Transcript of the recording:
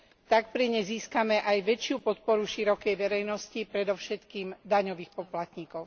Tak pri nej získame aj väčšiu podporu širokej verejnosti, predovšetkým daňových poplatníkov.